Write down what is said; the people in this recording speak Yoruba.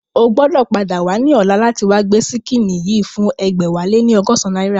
O gbọ́dọ̀ padà wá ní ọ̀la láti wá gbé ṣíkìnnì yìí fún ẹgbẹ̀wáléní ọgọ́san náírà